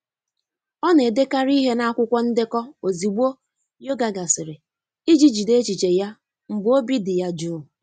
Ọna-edekarị ihe n'akwụkwọ ndekọ ozugbo yoga gasịrị iji jide echiche ya mgbe obi dị ya jụụ.